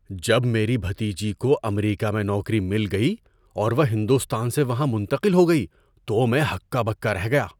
جب میری بھتیجی کو امریکہ میں نوکری مل گئی اور وہ ہندوستان سے وہاں منتقل ہو گئی تو میں ہکا بکا رہ گیا۔